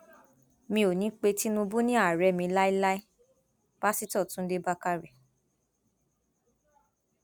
mi ò ní í pe tinubu ni ààrẹ mi láéláé páṣítọ túnde bàkárẹ